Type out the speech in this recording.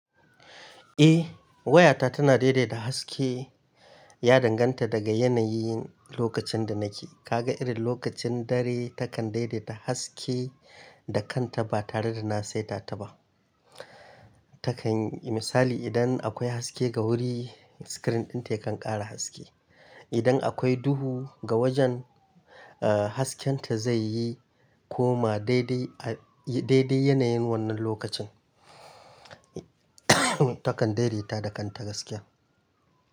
Eh, wayata tana daidaita haske. Ya danganta daga yanayin lokacin da nake. Kaga irin lokacin dare takan daidaita haske da kanta ba tare da na saita ta ba. Takan, misali idan akwai haske ga wuri, screen ɗinta yakan ƙara haske. Idan akwai duhu ga wajen, ah, hasken ta zai yi koma daidai, a daidai yanayin wannan lokacin. Takan daidaita da kanta gaskiya.